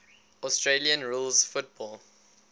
australian rules football